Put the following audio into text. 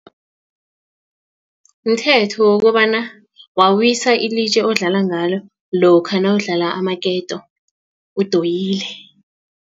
Mthetho wokobana wawisa ilitje odlala ngalo lokha nawudlala amaketo udoyile.